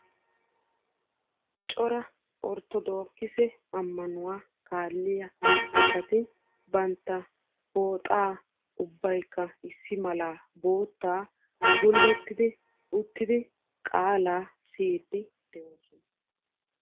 Cora orttoodokisse amannuwa kaaliya asatti bantta pooxxa gulottiddi qaala siyiddi de'osonna.